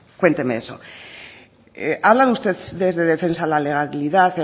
cuénteme eso hablan ustedes desde defensa a la legalidad